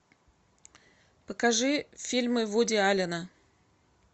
покажи фильмы вуди аллена